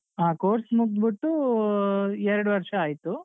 ಹ course ಮುಗ್ಧ್ ಬಿಟ್ಟೂ ಎರಡು ವರ್ಷ ಆಯ್ತು.